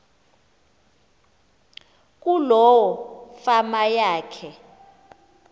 kuloo fama yakhe